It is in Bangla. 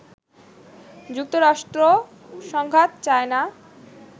যুক্তরাষ্ট্র সংঘাত চায় না